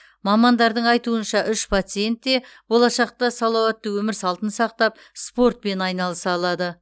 мамандардың айтуынша үш пациент те болашақта салауатты өмір салтын сақтап спортпен айналыса алады